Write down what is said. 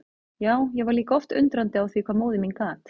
Já, ég var líka oft undrandi á því hvað móðir mín gat.